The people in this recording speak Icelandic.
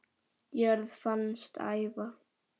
jörð fannst æva